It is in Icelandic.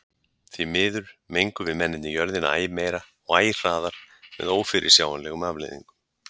Því miður mengum við mennirnir jörðina æ meira og æ hraðar með ófyrirsjáanlegum afleiðingum.